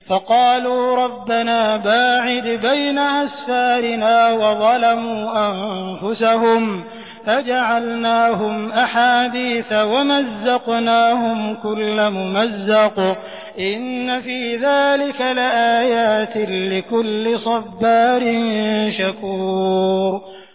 فَقَالُوا رَبَّنَا بَاعِدْ بَيْنَ أَسْفَارِنَا وَظَلَمُوا أَنفُسَهُمْ فَجَعَلْنَاهُمْ أَحَادِيثَ وَمَزَّقْنَاهُمْ كُلَّ مُمَزَّقٍ ۚ إِنَّ فِي ذَٰلِكَ لَآيَاتٍ لِّكُلِّ صَبَّارٍ شَكُورٍ